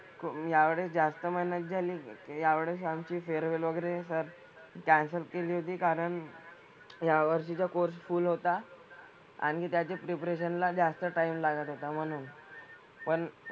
यावेळेस जास्त मेहनत झाली. यावेळेस आमची फेअरवेल वगैरे सर कॅन्सल केली होती कारण यावर्षीचा कोर्स फुल होता. आणि त्याच्या प्रिपरेशन ला जास्त टाइम लागत होता म्हणून. पण,